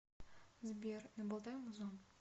сбер набалтай музон